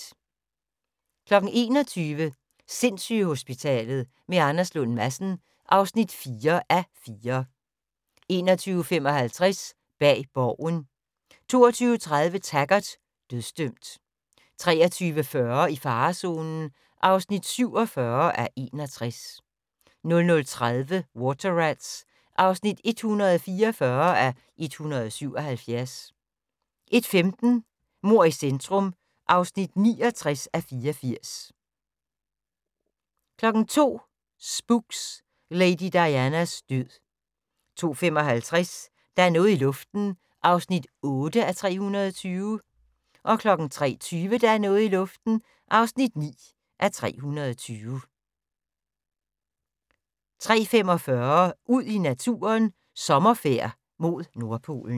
21:00: Sindssygehospitalet med Anders Lund Madsen (4:4) 21:55: Bag Borgen 22:30: Taggart: Dødsdømt 23:40: I farezonen (47:61) 00:30: Water Rats (144:177) 01:15: Mord i centrum (69:84) 02:00: Spooks: Lady Dianas død 02:55: Der er noget i luften (8:320) 03:20: Der er noget i luften (9:320) 03:45: Ud i naturen: Sommerfærd mod Nordpolen